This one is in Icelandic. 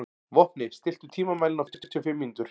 Vopni, stilltu tímamælinn á fjörutíu og fimm mínútur.